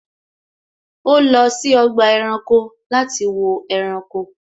Ó lọ sí ọgbà ẹranko láti wo ẹranko